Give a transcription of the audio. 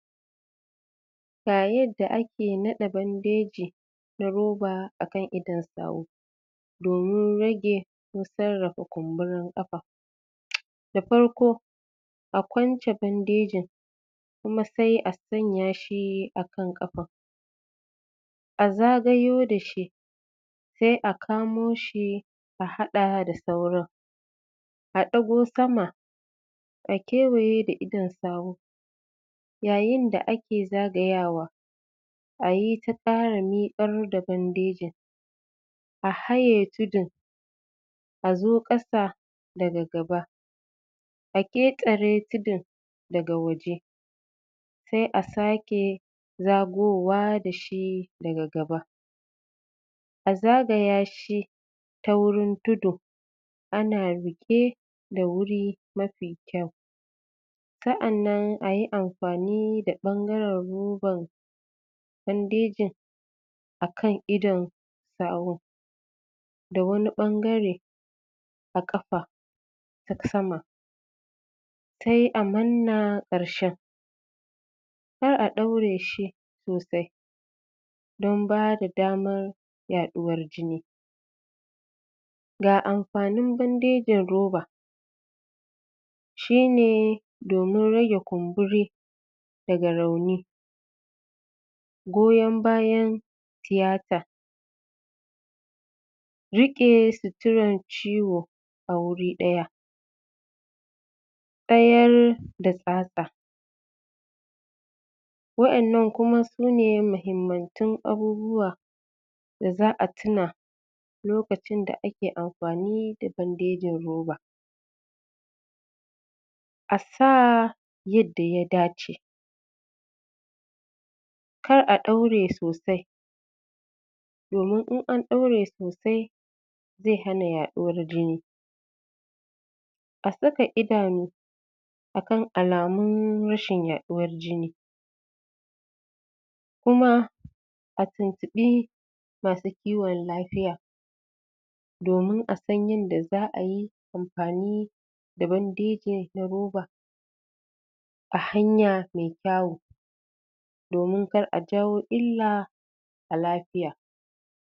ga yadda ake naɗa bandeji na ruba a kan idon sahu domin rage busar daga kumburin ƙafa da farko a kwance bandejin kuma sai a sanyashi akan ƙafa a zagayo dashi kuma sai a kamushi a haɗa da sauran a ɗago sama a kewaye da idon sahun yayin da ake zagayawa tayita ƙara miƙar da bandejin a haye tudun a zo ƙasa daga gaba aƙeƙare tudun daga waje sai a sake zagowa dashi daga gaba a zagaya shi a wurin tudu ana riƙe da wuri mafi kyau sa'annan ayi amfani da bangaran ruban bandejin akan idon sahun da wani bangare a ƙafa ta sama sai a manna ƙarshen kar a ɗaureshi sosai don babu damar ya ɗuwar jini ga amfanin bandejin ruba shine domin rage kumburi daga rauni goyan bayan tiyata riƙe suturar ciwa a wuri ɗaya tsayar da tsatsa wa ƴannan kuma sune mahimmantun abubuwa da za a tuna lokacin da ake amfani da bandejin ruba asa yadda ya dace kara a ɗaure sosai domin in anɗaure sosai zai hana ya ɗuwar jini a saka idanu akan alamun rashin ya ɗuwar jini kuma atuntuɓi masu ciwan lafiya domin asan yanda za ayi amfani da bandeji na ruba a hanya me kyawu domin kar ajawo illa a lafiya